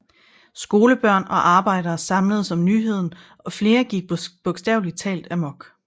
Skolebørn og arbejdere samledes om nyheden og flere gik bogstavelig talt amok